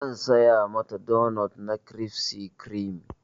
Zan saya mata donot na crispy creame.